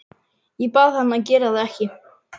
Ég bað hann að gera það ekki.